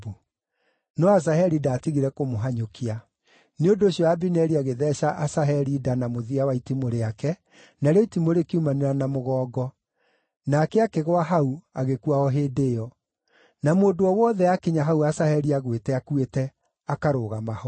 No Asaheli ndaatigire kũmũhanyũkia; nĩ ũndũ ũcio Abineri agĩtheeca Asaheli nda na mũthia wa itimũ rĩake, narĩo itimũ rĩkiumanĩra na mũgongo. Nake akĩgũa hau agĩkua o hĩndĩ ĩyo. Na mũndũ o wothe aakinya hau Asaheli aagwĩte akuĩte, akarũgama ho.